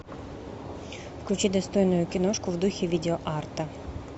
включи достойную киношку в духе видео арта